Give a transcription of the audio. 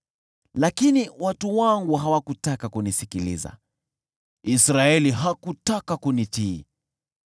“Lakini watu wangu hawakutaka kunisikiliza; Israeli hakutaka kunitii.